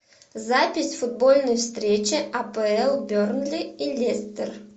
запись футбольной встречи апл бернли и лестер